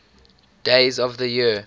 days of the year